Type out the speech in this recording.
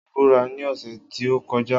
Obìnrin náà búra ní ọ̀sẹ̀ tí ó kọjá